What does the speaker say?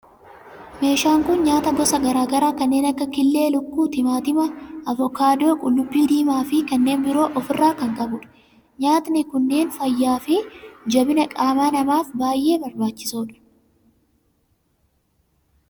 meeshaan kun nyaata gosa garaa garaa kanneen akka killee lukkuu, timaatima, avokaadoo, qullubbii diimaa fi kanneen biroo of irraa kan qabudha. nyaatni kunneen fayyaa fi jabina qaama namaaf baayyee barbaachisoodha.